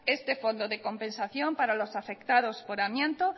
este fondo de compensación para los afectados por amianto